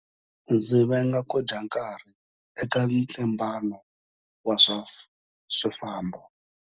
Ndzi venga ku dya nkarhi eka ntlimbano wa swifambo.